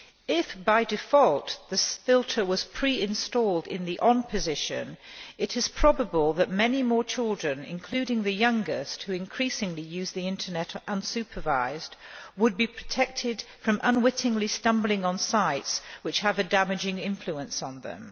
If, by default, the filter was pre installed in the on' position, it is probable that many more children including the youngest, who increasingly use the Internet unsupervised would be protected from unwittingly stumbling on sites which have a damaging influence on them.